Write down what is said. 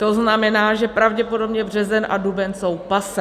To znamená, že pravděpodobně březen a duben jsou passé.